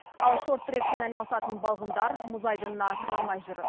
ал шорт трекпен айналысатын балғындар мұз айдынына кіре алмай жүр